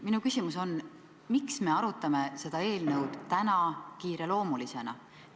Minu küsimus on: miks me arutame seda eelnõu täna kiireloomulisena?